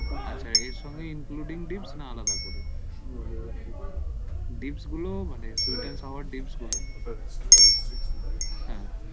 আচ্ছা এর সঙ্গে including dish না আলাদা করে dish গুলো মানে sweet and sour dish গুলো